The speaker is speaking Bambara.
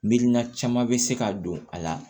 Miirina caman be se ka don a la